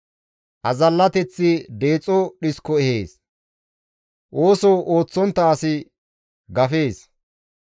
Azallateththi deexo dhisko ehees; ooso ooththontta asi gafees.